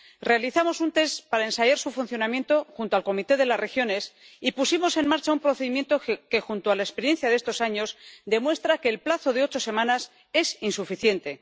Realizamos un test para ensayar su funcionamiento junto al Comité de las Regiones y pusimos en marcha un procedimiento que, junto a la experiencia de estos años, demuestra que el plazo de ocho semanas es insuficiente